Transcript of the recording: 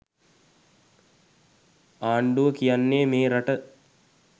ආණ්ඩුව කියන්නේ මේ රට